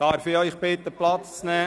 Darf ich Sie bitten, Platz zu nehmen?